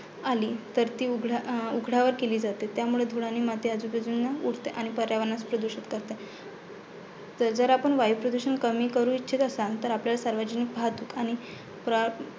आली तर ती उघड्या अं उघड्यावर केली जाते. त्यामुळे धूळ आणि माती आजूबाजूने उडते आणि पर्यावरणासाठी प्रदूषक ठरते. जर आपण वायुप्रदूषण कमी करू इच्छिता असान तर आपल्याला सार्वजनिक वाहतूक आणि प्र